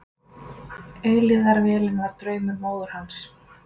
Eilífðarvélin var draumur móður hans.